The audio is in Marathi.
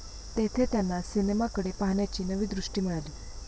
तेथे त्यांना सिनेमाकडे पाहण्याची नवी दृष्टी मिळाली.